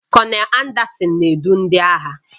Kọnel Anderson na-edu ndị agha